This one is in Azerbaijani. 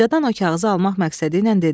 Qocadan o kağızı almaq məqsədi ilə dedi.